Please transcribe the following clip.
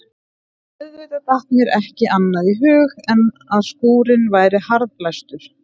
Auðvitað datt mér ekki annað í hug en að skúrinn væri harðlæstur.